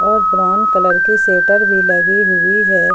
और ब्राउन की सेटर भी लगी हुई है।